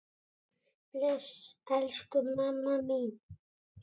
Bless, elsku amma mín.